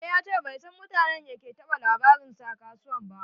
E, ya ce bai san mutanen da ke ta ba da labarinsa a kasuwan ba.